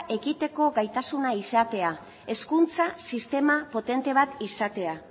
egiteko gaitasuna izatea hezkuntza sistema potente bat izatea